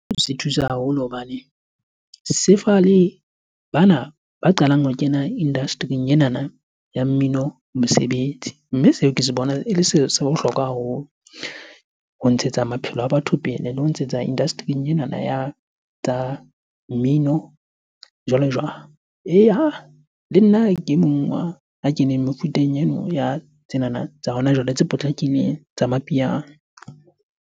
Se thusa haholo hobane se fa bana ba qalang ho kena industry-ing enana ya mmino mesebetsi. Mme seo ke se bona ele se bohlokwa haholo ho ntshetsa maphelo a batho pele le ho ntshetsa industry-ing enana ya tsa mmino jwalo-jwalo. Eya, le nna ke e mong a keneng mefuteng eno ya tsenana tsa hona jwale tse potlakileng tsa Mapiano.